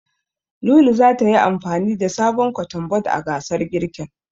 Lulu zata yi amfani da sabon Kotun bod a gasar girkin.